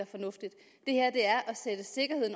fornuftigt